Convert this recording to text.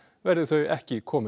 verði þau ekki komin